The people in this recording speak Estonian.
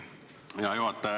Hea juhataja!